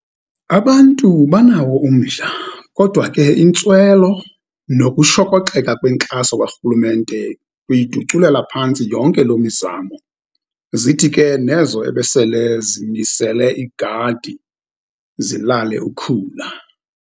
Abantu banawo umdla, kodwa ke intswelo nokushokoxeka kwenkxaso karhulumente, uyituculela phantsi yonke loo mizamo, zithi ke nezo ebesele zimisele igadi zilale ukhula.